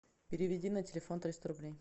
переведи на телефон триста рублей